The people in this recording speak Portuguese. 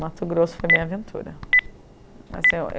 Mato Grosso foi a minha aventura assim eu